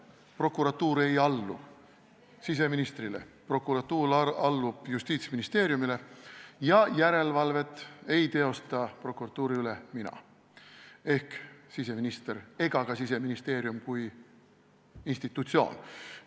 Prokuratuur ei allu siseministrile, prokuratuur allub Justiitsministeeriumile ja järelevalvet prokuratuuri üle ei teosta mina ehk siseminister ega ka Siseministeerium kui institutsioon.